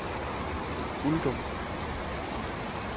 Uldum